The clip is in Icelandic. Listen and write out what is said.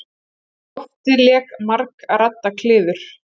Um loftið lék margradda kliður.